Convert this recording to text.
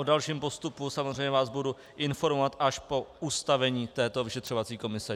O dalším postupu samozřejmě vás budu informovat až po ustavení této vyšetřovací komise.